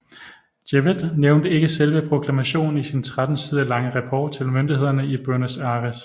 Jewett nævnte ikke selv proklamationen i sin 13 sider lange rapport til myndighederne i Buenos Aires